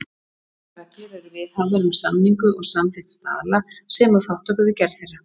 Ákveðnar reglur eru viðhafðar um samningu og samþykkt staðla, sem og þátttöku við gerð þeirra.